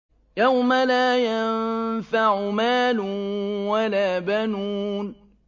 يَوْمَ لَا يَنفَعُ مَالٌ وَلَا بَنُونَ